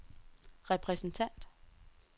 repræsentant